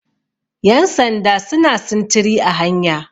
yansanda suna sintiri a hanya